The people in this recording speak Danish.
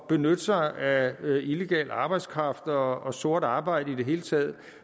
benytte sig af illegal arbejdskraft og og sort arbejde i det hele taget